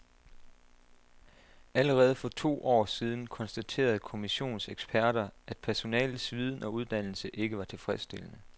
Allerede for to år siden konstaterede kommissionens eksperter, at personalets viden og uddannelse ikke var tilfredsstillende.